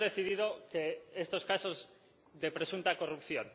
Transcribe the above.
no hemos decidido estos casos de presunta corrupción─